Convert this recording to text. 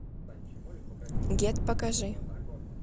гет покажи